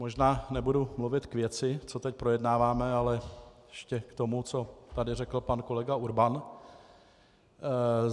Možná nebudu mluvit k věci, co teď projednáváme, ale ještě k tomu, co tady řekl pan kolega Urban.